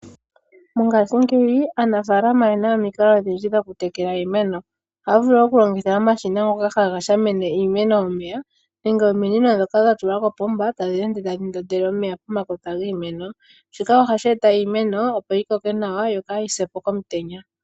Mongaashingeyi aanafaalama oye na omukalo odhindji dhoku tekela iimeno. Ohaya vulu okulongitha omashina ngoka haga shamine iimeno omeya nenge ominino ndhoka dha tulwa koopomba tadhi ende tadhi ndondele omeya pomakota giimeno. Shika ohashi e ta opo iimeno yi koke nawa yo kaa yi se po komutenya.